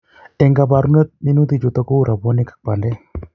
eng'kabarunet minutik chutok ko kou robwonik ak pandek